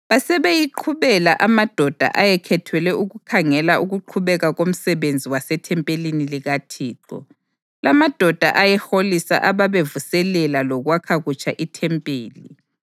Basebeyiqhubela amadoda ayekhethelwe ukukhangela ukuqhubeka komsebenzi wasethempelini likaThixo. Lamadoda ayeholisa ababevuselela lokwakha kutsha ithempeli.